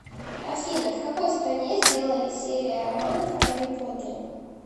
афина в какой стране сделали серия романов о гарри поттере